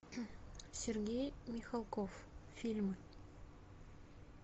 сергей михалков фильмы